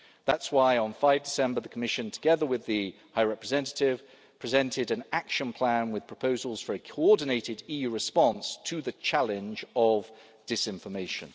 That's why on 5 December the Commission, together with the High Representative, presented an action plan with proposals for a coordinated EU response to the challenge of disinformation.